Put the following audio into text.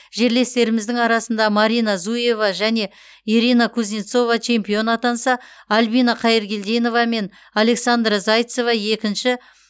жерлестеріміздің арасында марина зуева және ирина кузнецова чемпион атанса альбина қайыргелдинова мен александра зайцева екінші